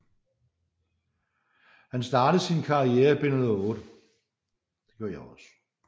Han startede sin karriere i B 1908